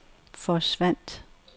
forsvandt